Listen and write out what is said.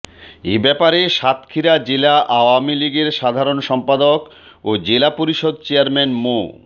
এ ব্যাপারে সাতক্ষীরা জেলা আওয়ামী লীগের সাধারণ সম্পাদক ও জেলা পরিষদ চেয়ারম্যান মো